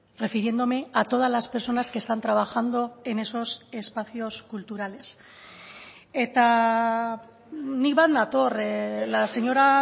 refiriéndome a todas las personas que están trabajando en esos espacios culturales eta ni bat nator la señora